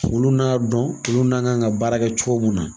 Ulu n'a dɔn olu n'an kan ka baara kɛ cogo min na.